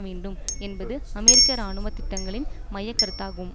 வேண்டும் என்பது அமெரிக்க இராணுவ திட்டங்களின் மைய கருத்தாகும்